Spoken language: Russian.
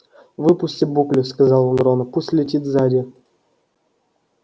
выпусти буклю сказал он рону пусть летит сзади